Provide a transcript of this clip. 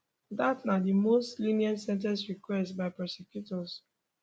dat na di most lenient sen ten ce requested by prosecutors